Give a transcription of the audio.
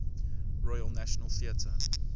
royal national theatre